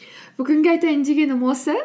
бүгінге айтайын дегенім осы